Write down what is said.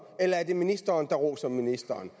eller er det ministeren der roser ministeren